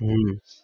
હમ